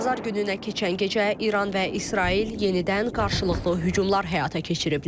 Bazar gününə keçən gecə İran və İsrail yenidən qarşılıqlı hücumlar həyata keçiriblər.